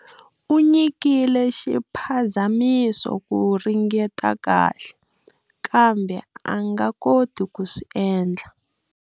U nyikile xiphazamiso ku ringeta kahle, kambe a nga koti ku swi endla.